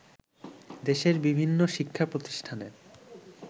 দেশের বিভিন্ন শিক্ষাপ্রতিষ্ঠানের